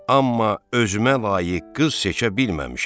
Amma özümə layiq qız seçə bilməmişəm.